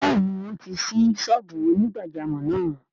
Bẹ́ẹ̀ni wọ́n ti ṣí ṣọ́ọ́bù onígbàjámọ̀ náà